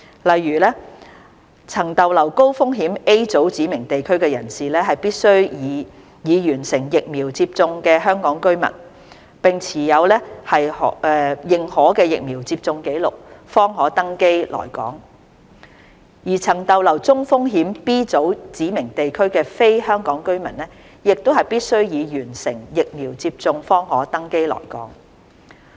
例如，曾逗留高風險 A 組指明地區的人士，必須為已完成疫苗接種的香港居民並持認可疫苗接種紀錄，方可登機來港；而曾逗留中風險 B 組指明地區的非香港居民，亦必須已完成疫苗接種方可登機來港。